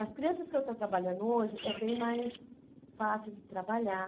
As crianças que eu estou trabalhando hoje, é bem mais fácil de trabalhar.